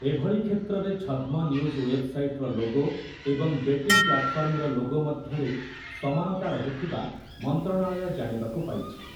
ଏଭଳି କ୍ଷେତ୍ରରେ ଛଦ୍ମ ନ୍ୟୁଜ୍ ୱେବ୍‌ସାଇଟ୍‌ର ଲୋଗୋ ଏବଂ ବେଟିଂ ପ୍ଲାଟଫର୍ମର ଲୋଗୋ ମଧ୍ୟରେ ସମାନତା ରହୁଥିବା ମନ୍ତ୍ରଣାଳୟ ଜାଣିବାକୁ ପାଇଛି ।